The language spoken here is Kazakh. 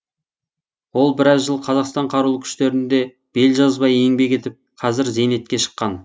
ол біраз жыл қазақстан қарулы күштерінде бел жазбай еңбек етіп қазір зейнетке шыққан